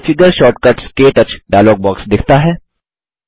configure shortcuts - क्टच dialog box दिखता है